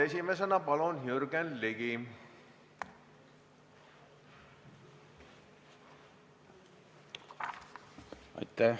Esimesena palun, Jürgen Ligi!